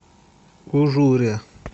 ужуре